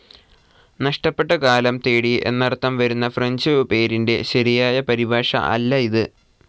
നഷ്ടപ്പെട്ട കാലം തേടി എന്നർത്ഥം വരുന്ന ഫ്രഞ്ച്‌ പേരിന്റെ ശരിയായ പരിഭാഷ അല്ല ഇത്.